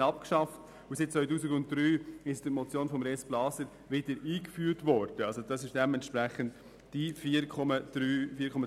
Dann hatte man die Subvention vorübergehend abgeschafft und im Jahr 2003 infolge einer Motion von Grossrat Blaser wieder eingeführt.